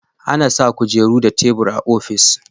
A na sa kujeru da tebur a ofis